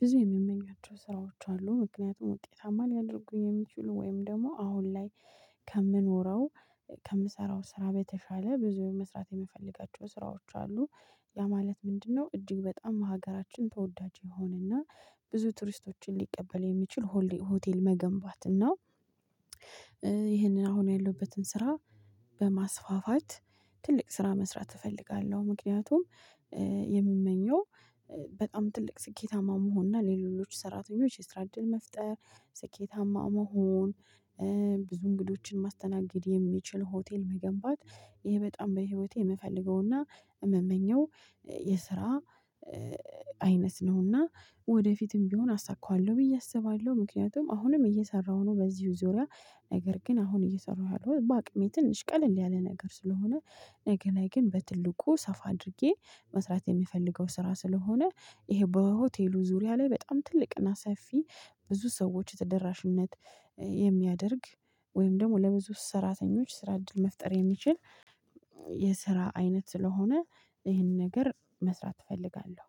ብዙ የምመኛቸው ስራዎች አሉ ምክንያቱም ውጤታማ ሊያደርጉኝ የሚችሉ ወይም ደግሞ አሁን ላይ ከምኖረው ከምሰራው ስራ በተሻለ ብዙ መስራት የምፈልጋቸው ስራዎች አሉ። ያ ማለት ምንድነው? እጅግ በጣም ሀገራችን ተወዳጅ የሆነና ብዙ ቱሪስቶችን ሊቀበል የሚችል ሆሌ ሆቴል መገንባትና ይህንን አሁን ያለውበትን ስራ በማስፋፋት ትልቅ ስራ መስራት እፈልጋለሁ። ምክንያቱም የምመኘው በጣም ትልቅ ስኬታማ መሆን እና ሌሎች ሰራተኞች የስራ እድል መፍጠር ስኬታማ መሆን። ብዙ እንግዶችን ማስተናገድ የሚችል ሆቴል መገንባት ይሄ በጣም በህይወቴ የምፈልገውና የምመኘው የስራ አይነት ነውና ወደፊትም ቢሆን አሳካዋለሁ ብዬ አስባለሁ። ምክንያቱም አሁንም እየሰራሁ ነው። በዚሁ ዙሪያ ነገር ግን አሁን እየሰራሁ ያለሁት በአቅሜ ትንሽ ቀለል ያለ ነገር ስለሆነ ነገ ላይ ግን በትልቁ ሰፋ አድርጌ መስራት የምፈልገው ስራ ስለሆነ። ይሄ በሆቴሉ ዙሪያ ላይ በጣም ትልቅና ሰፊ ብዙ ሰዎች ተደራሽነት የሚያደርግ ወይም ደግሞ ለብዙ ሰራተኞች ስራ እድል መፍጠር የሚችል። የስራ አይነት ስለሆነ ይህንን ነገር መስራት እፈልጋለሁ